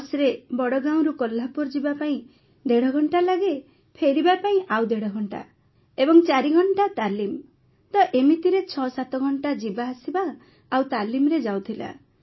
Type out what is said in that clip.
ବସ୍ରେ ବଡ଼ଗାଓଁରୁ କୋହ୍ଲାପୁର ଯିବାପାଇଁ ଦେଢ଼ଘଣ୍ଟା ଲାଗେ ଫେରିବା ପାଇଁ ଆଉ ଦେଢ଼ଘଣ୍ଟା ଏବଂ ଚାରିଘଣ୍ଟା ତାଲିମ୍ ତ ଏମିତିରେ ୬୭ ଘଣ୍ଟା ଯିବାଆସିବା ଆଉ ତାଲିମରେ ଯାଉଥିଲା